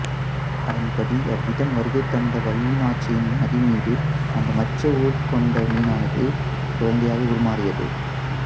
அதன்படி அவ்விடம் வருகை தந்த வல்லிநாச்சியின் மடி மீது அந்த மச்ச உருக் கொண்ட மீனானது குழந்தையாக உரு மாறியது